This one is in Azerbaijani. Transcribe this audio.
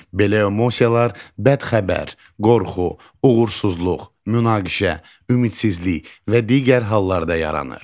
Belə emosiyalar bədxəbər, qorxu, uğursuzluq, münaqişə, ümidsizlik və digər hallarda yaranır.